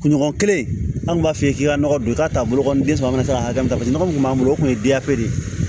Kunɲɔgɔn kelen anw b'a f'i ye k'i ka nɔgɔ don i t'a bolo den sɔrɔ kana se ka hakɛ min ta paseke nɔgɔ mun kun b'an bolo o kun ye de ye